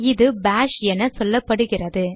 இது பாஷ் என சொல்லப்படுகிறது